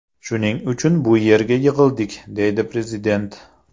Shuning uchun bu yerga yig‘ildik”, deydi prezident.